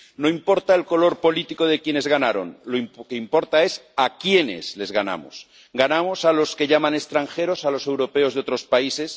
No importa el color político de quienes ganaron, lo que importa es a quiénes les ganamos ganamos a los que llaman extranjeros a los europeos de otros países